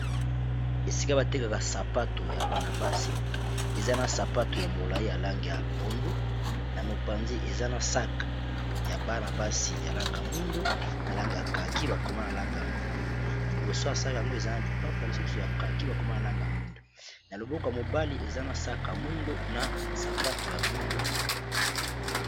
esika batekaka sapato ya bana-basi eza na sapato ya molai ya langi ya pondu na mopanzi eza na mosaka ya bana-basi ya langi ya mwindo na langi ya kaki bakoma na langi mwindo liboso mosaka yango eza na lipapa lisusu ya kaki ,na langi ya mwindo na loboko ya mobali eza na sac ya mwindo na sapato ya mwindo